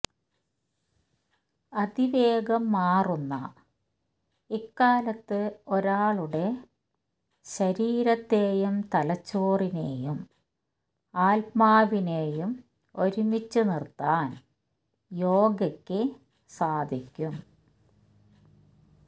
അതിവേഗം മാറുന്ന ഇക്കാലത്ത് ഒരാളുടെ ശരീരത്തെയും തലച്ചോറിനെയും ആത്മാവിനെയും ഒരുമിച്ച് നിര്ത്താന് യോഗയ്ക്ക് സാധിക്കും